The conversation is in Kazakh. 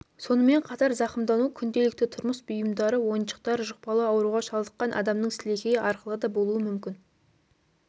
сонымен қатар зақымдану күнделікті тұрмыс бұйымдары ойыншықтар жұқпалы ауруға шалдыққан адамның сілекейі арқылы да болуы мүмкін